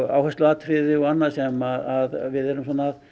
áhersluatriði og annað sem við erum